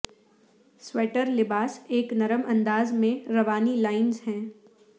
sweater لباس ایک نرم انداز میں روانی لائنز ہے